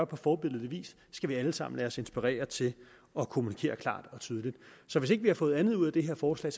på forbilledlig vis skal vi alle sammen lade os inspirere til at kommunikere klart og tydeligt så hvis ikke vi har fået andet ud af det her forslag